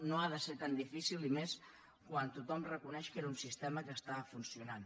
no ha de ser tan di·fícil i més quan tothom reconeix que era un sistema que estava funcionant